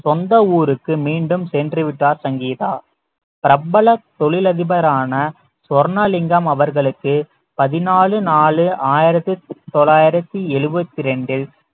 சொந்த ஊருக்கு மீண்டும் சென்று விட்டார் சங்கீதா பிரபல தொழிலதிபரான சொர்ணலிங்கம் அவர்களுக்கு பதினாலு நாலு ஆயிரத்தி தொள்ளாயிரத்தி எழுபத்தி இரண்டில்